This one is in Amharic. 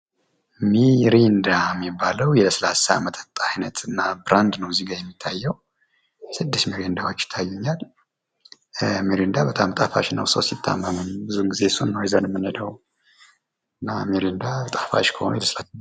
ሚሪንዳ የሚባለው የለላሳ መጠጥ አይነት እና ብራንድ ነው እዚጋ የሚታየው ስድስት ሚሪንዳዎች ይታዩኛል። ሚሪንዳ በጣም ጣፋጭ ነው ሰው ሲታመም ጊዜ እሱን ነው ይዘን የምንሄደው። እና ሚሪንዳ ጣፋጭ ከሆኑ የስላሳ